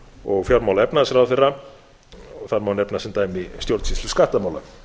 og fjármála og efnahagsráðherra og þar má nefna sem dæmi stjórnsýslu skattamála